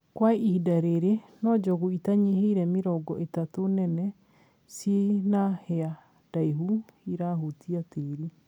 Kwa ihinda rĩrĩ no njogu itanyihĩirie mĩrongo ĩtatũ nene ciĩ na hĩa ndaihu irahutia tĩri